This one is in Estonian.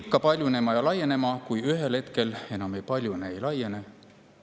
Ikka paljunema ja laienema, kuni ühel hetkel enam ei paljune ega laiene.